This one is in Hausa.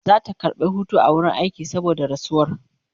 Zata karɓa Hutu a wurin aiki saboda rasuwar